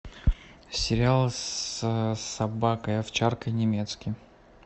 сериал с собакой овчаркой немецкий